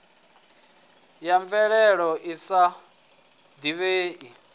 ya mvelelo i sa divhei